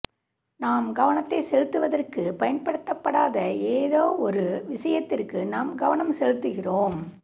நாம் கவனத்தை செலுத்துவதற்குப் பயன்படுத்தப்படாத ஏதோவொரு விஷயத்திற்கு நாம் கவனம் செலுத்துகிறோம்